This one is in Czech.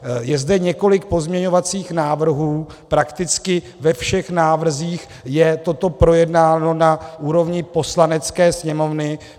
Je zde několik pozměňovacích návrhů, prakticky ve všech návrzích je toto projednáno na úrovni Poslanecké sněmovny.